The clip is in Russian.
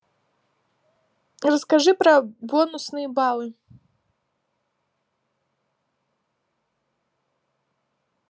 расскажи про бонусные баллы